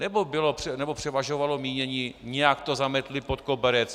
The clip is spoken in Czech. Nebo převažovalo mínění: Nějak to zametli pod koberec.